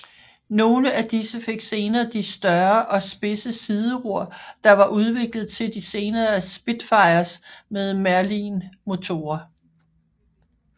Nogle af disse fik senere de større og spidse sideror der var udviklet til de senere Spitfires med Merlin motorer